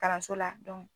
Kalanso la